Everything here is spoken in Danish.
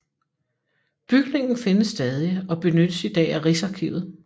Bygningen findes stadig og benyttes i dag af Rigsarkivet